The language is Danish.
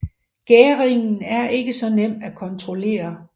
Gæringen er ikke så nem at kontrollere